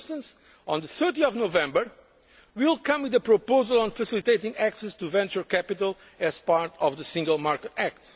For instance, on 30 November we will put forward a proposal on facilitating access to venture capital as part of the Single Market